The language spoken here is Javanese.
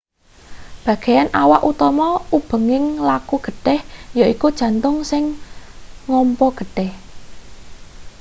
bagean awak utama ubenging laku getih yaiku jantung sing ngompa getih